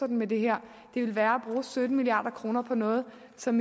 med det her det vil være at bruge sytten milliard kroner på noget som